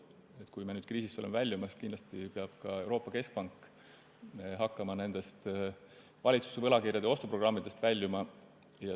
Ja kui me nüüd oleme kriisist väljumas, peab kindlasti ka Euroopa Keskpank hakkama nendest valitsuse võlakirjade ostu programmidest väljuma.